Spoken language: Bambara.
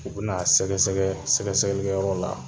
U bɛ n'a sɛgɛsɛgɛ sɛgɛsɛgɛlikɛyɔrɔ la